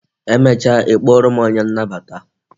Emecha ị kpọrọ m onye nnabata